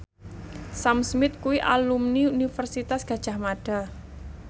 Sam Smith kuwi alumni Universitas Gadjah Mada